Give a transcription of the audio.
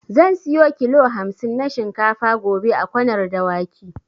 Zan siyo kilo hamsin na shinkafa gobe a Kwanar Dawaki.